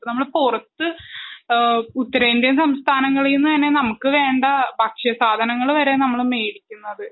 നമ്മളിപ്പോ പുറത്തു ആഹ് ഉത്തേന്ത്യൻ സംസ്ഥാനങ്ങളിൽനിന്നുതന്നെ നമുക്ക് വേണ്ടാ ഭക്ഷ്യ സാധനങ്ങള് വരെ നമ്മള് മേടിക്കുന്നതു.